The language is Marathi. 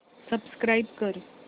सबस्क्राईब कर